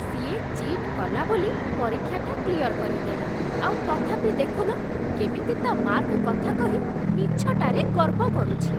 ସିଏ ଚି'ଟ୍ କଲା ବୋଲି ପରୀକ୍ଷାଟା କ୍ଲିୟର କରିଦେଲା, ଆଉ ତଥାପି ଦେଖୁନ କେମିତି ତା' ମାର୍କ କଥା କହି ମିଛଟାରେ ଗର୍ବ କରୁଛି ।